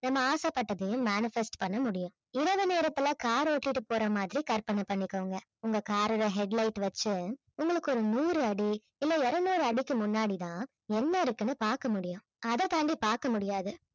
நம்ம ஆசைபட்டதையும் manifest பண்ண முடியும் இரவு நேரத்துல car ஓட்டிட்டு போற மாதிரி கற்பனை பண்ணிக்கோங்க உங்க car ஓட head light வச்சி உங்களுக்கு ஒரு நூறு அடி இல்ல இருநூறு அடிக்கு முன்னாடி தான் என்ன இருக்குன்னு பார்க்க முடியும் அதை தாண்டி பார்க்க முடியாது